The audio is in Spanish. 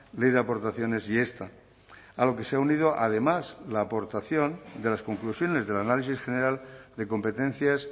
ley de aportaciones y esta a lo que se ha unido además la aportación de las conclusiones del análisis general de competencias